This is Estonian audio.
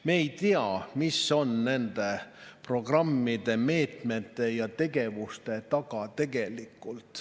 Me ei tea, mis on tegelikult nende programmide, meetmete ja tegevuste taga.